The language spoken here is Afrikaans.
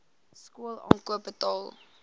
skool aankoop betaal